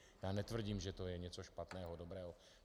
Já netvrdím, že to je něco špatného, dobrého.